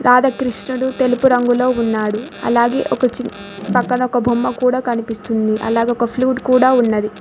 ఆడ కృష్ణుడు తెలుపు రంగులో ఉన్నాడు అలాగే ఒక చిన్ పక్కన ఒక బొమ్మ కూడా కనిపిస్తుంది అలాగే ఒక ఫ్లూట్ కూడా ఉన్నది.